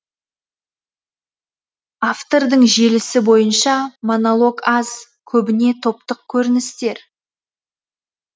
автордың желісі бойынша монолог аз көбіне топтық көріністер